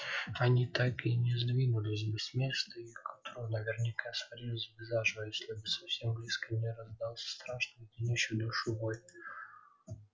они так и не сдвинулись бы с места и к утру наверняка сварились бы заживо если бы совсем близко не раздался страшный леденящий душу вой